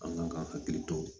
An kan ka hakili to